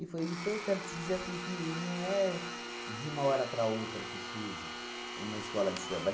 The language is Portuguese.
E foi então, quero te dizer assim que não é de uma hora para outra que surge uma escola de samba.